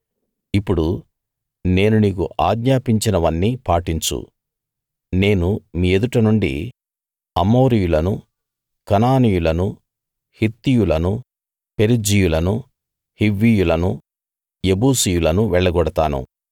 ఇప్పుడు నేను నీకు ఆజ్ఞాపించినవన్నీ పాటించు నేను మీ ఎదుట నుండి అమోరీయులను కనానీయులను హిత్తీయులను పెరిజ్జీయులను హివ్వీయులను యెబూసీయులను వెళ్ళగొడతాను